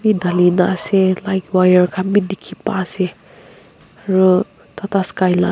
e dhali na ase light wire khan bhi dikhi pai ase aru tatasky lah--